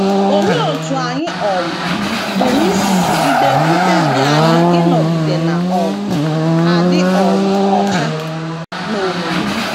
Olee otú anyị um pụrụ isi jigide mkpebi anyị ịnọgide na - um adị um ọcha n’omume?